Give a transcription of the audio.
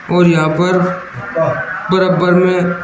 और यहां पर बराबर में--